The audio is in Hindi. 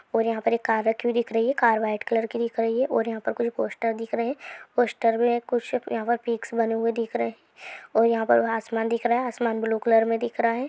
और यहाँ पर कार रखी हुई दिख रही है व्हाइट कलर की दिख रही है और यहाँ पर कोई पोस्टर दिख रहे है पोस्टर मे कुछ यहाँ पर पिक्स बने हुए दिख रहे है और यहाँ पर आसमान दिख रहा है आसमान ब्लू कलर मे दिख रहा है।